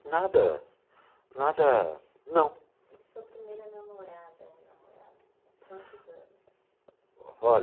nada, nada, não. E sua primeira namorada ou namorado, quantos anos?